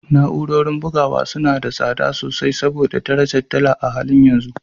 Na’urorin bugawa suna da tsada sosai saboda darajar dala a halin yanzu